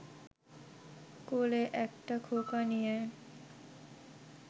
কোলে একটা খোকা নিয়ে